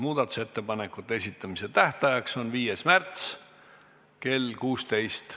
Muudatusettepanekute esitamise tähtaeg on 5. märts kell 16.